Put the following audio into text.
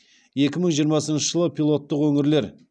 екі мың жиырмасыншы жылы пилоттық өңірлер